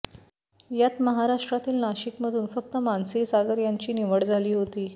यात महाराष्ट्रातील नाशिकमधून फक्त मानसी सागर यांची निवड झाली होती